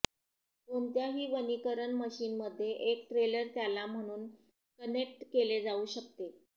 कोणत्याही वनीकरण मशीन मध्ये एक ट्रेलर त्याला म्हणून कनेक्ट केले जाऊ शकते